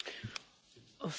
Herr Präsident!